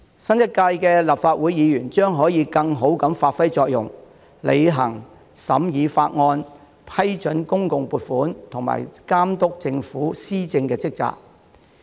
新一屆立法會議員將可以更好地發揮作用，履行審議法案、批准公共撥款和監督政府施政的職責。